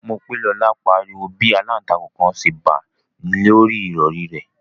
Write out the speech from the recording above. Mopelola pariwo bi àlàntakùn kan ṣe ba lori ìrọri rẹ